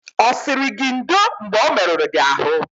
Ọ sịrị gị ndo mgbe o merụrụ gị ahụ?